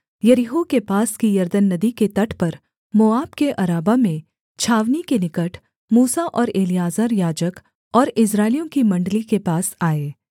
यरीहो के पास की यरदन नदी के तट पर मोआब के अराबा में छावनी के निकट मूसा और एलीआजर याजक और इस्राएलियों की मण्डली के पास आए